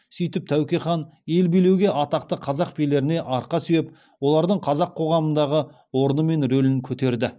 сөйтіп тәуке хан ел билеуде атақты қазақ билеріне арқа сүйеп олардың қазақ қоғамындағы орны мен рөлін көтерді